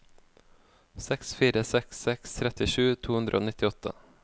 seks fire seks seks trettisju to hundre og nittiåtte